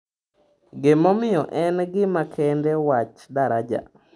Gimomiyo en gima kende wach daraja?